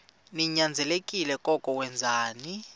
ninyanzelekile koko wenzeni